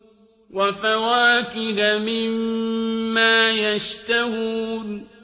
وَفَوَاكِهَ مِمَّا يَشْتَهُونَ